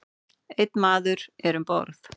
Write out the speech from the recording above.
Einn maður er um borð.